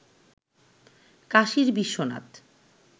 কাশীর Biswanath